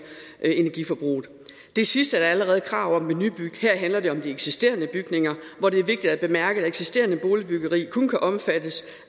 energiforbruget det sidste er der allerede krav om ved nybyggeri her handler det om de eksisterende bygninger hvor det er vigtigt at bemærke at eksisterende boligbyggeri kun kan omfattes